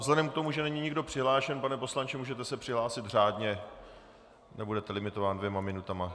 Vzhledem k tomu, že není nikdo přihlášen, pane poslanče, můžete se přihlásit řádně, nebudete limitován dvěma minutami